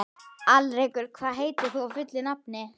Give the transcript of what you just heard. Alrekur, hvað heitir þú fullu nafni?